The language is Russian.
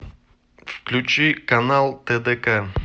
включи канал тдк